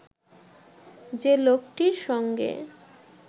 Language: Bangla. যে লোকটির সঙ্গে